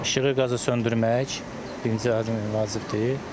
İşığı qazı söndürmək birinci ən vacibdir.